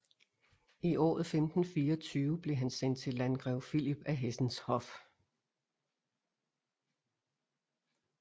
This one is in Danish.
I året 1524 blev han sendt til landgrev Philip af Hessens hof